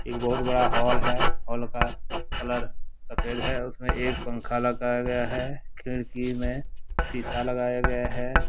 एक बहुत बड़ा हाल है हॉल का कलर सफेद हैउसमें एक पंखा लगाया गया है खिड़की में शीशा लगाया गया है।